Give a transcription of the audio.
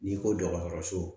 N'i ko dɔgɔtɔrɔso